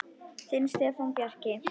Þinn Stefán Bjarki.